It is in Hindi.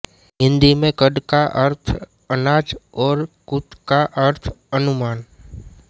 हिन्दी में कण का अर्थ है अनाज और कुत का अर्थ है अनुमान